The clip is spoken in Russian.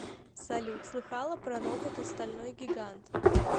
салют слыхала про робота стальной гигант